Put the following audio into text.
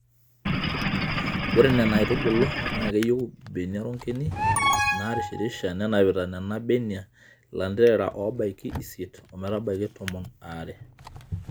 Ore Nena aitubulu naa keyiu mbenia ronkeni narishirisha nenapita Nena benia lanterera oobaiki isiet ometabaiki tomon aare.